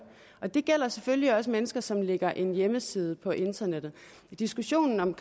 det gælder selvfølgelig også mennesker som lægger en hjemmeside på internettet diskussionen om